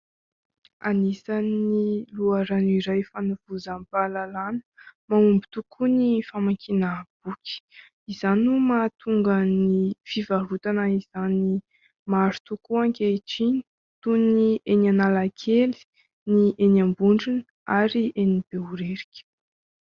Anisany loharano iray fanovozam-pahalalana mahomby tokoa ny famankiana boky, izany no mahatonga ny fivarotana izany maro tokoa ankehitriny toy ny eny Analakely, ny eny Ambondrona ary eny Behoririka.